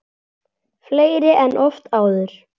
Fleiri en oft áður.